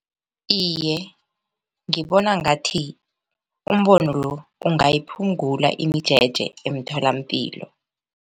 Iye, ngibona ngathi umbono lo ungayiphungula imijeje emtholampilo.